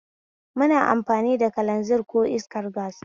Muna amfani da kalanzir ko iskar gas